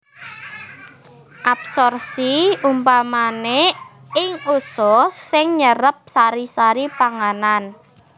Absorpsi umpamané ing usus sing nyerep sari sari pangananb